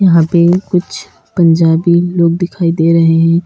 यहाँ पर कुछ पंजाबी लोग दिखाई दे रहे हैं।